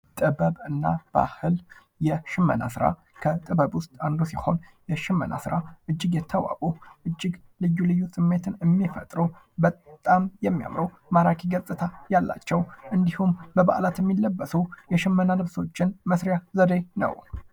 ጥበብ እና ባህል የሽመና ስራ። ከጥበብ ውስጥ አንዱ ሲሆን የሽመና ስራ እጅግ የተዋቡ ፣እጅግ ልዩ ልዩ ስሜትን የሚፈጥሩ ፣በጣም የሚያምሩ፣ ማራኪ ገጽታ ያላቸው እንዲሁም በበዓላት የሚለብሱ የሽመና ልብሶችን መስሪያ ዘዴ ነው።